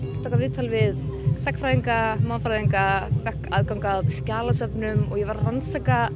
taka viðtöl við sagnfræðinga mannfræðinga fékk aðgang að skjalasöfnum og ég var að rannsaka